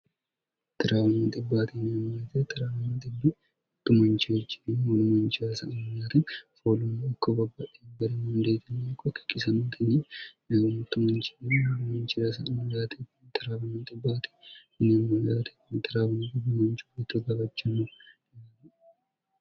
1irwbt nemite 1irwn00manci horcini hnmanci s foolumno ikkobabbahi berimundeetiny0o kikisnnncc0mrtmanc witto gawachanno yiani